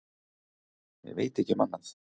Ég veit ekki um annað.